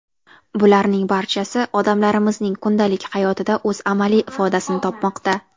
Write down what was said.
Bularning barchasi odamlarimizning kundalik hayotida o‘z amaliy ifodasini topmoqda.